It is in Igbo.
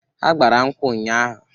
Ha gbara nkwụ nnya ahụ.